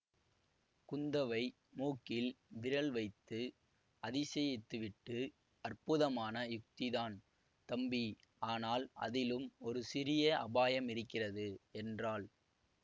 குந்தவை மூக்கில் விரல் வைத்து அதிசயித்துவிட்டு அற்புதமான யுக்திதான் தம்பி ஆனால் அதிலும் ஒரு சிறிய அபாயம் இருக்கிறது என்றாள்